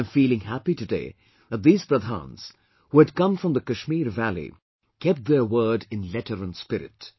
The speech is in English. I am feeling happy today that these Pradhans, who had come from the Kashmir valley, kept their word in letter and spirit